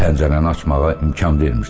Pəncərəni açmağa imkan vermirsən.